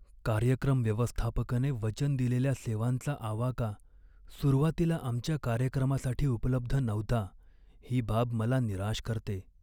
कार्यक्रम व्यवस्थापकाने वचन दिलेल्या सेवांचा आवाका सुरुवातीला आमच्या कार्यक्रमासाठी उपलब्ध नव्हता, ही बाब मला निराश करते.